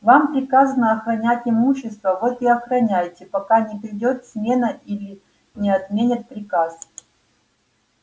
вам приказано охранять имущество вот и охраняйте пока не придёт смена или не отменят приказ